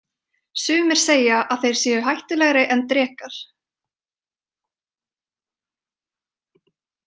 Sumir segja að þeir séu hættulegri en drekar.